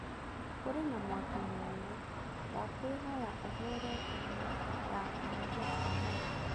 Kũrĩ na mwaki mũnene, ndakũĩhoya ũhũũrĩ thimũ ya ahoria a mwaki.